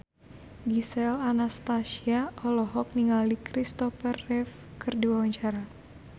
Gisel Anastasia olohok ningali Christopher Reeve keur diwawancara